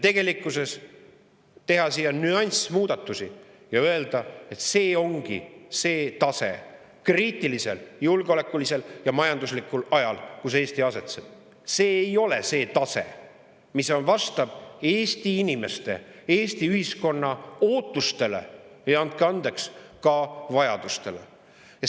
Tegelikkuses teha siia nüansimuudatusi ja öelda, et see ongi see tase julgeolekuliselt ja majanduslikult kriitilisel ajal, kus Eesti asetseb – see ei ole see tase, mis vastab Eesti inimeste, Eesti ühiskonna ootustele, ja andke andeks, ka vajadustele.